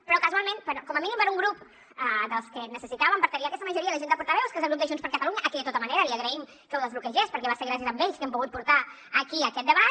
però casualment com a mínim per un grup dels que necessitàvem per tenir aquesta majoria a la junta de portaveus que és el grup de junts per catalunya a qui de tota manera li agraïm que ho desbloquegés perquè va ser gràcies a ells que hem pogut portar aquí aquest debat